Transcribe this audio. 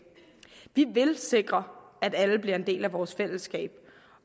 vi vil sikre at alle bliver en del af vores fællesskab